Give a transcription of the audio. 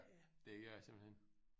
Det gør det simpelthen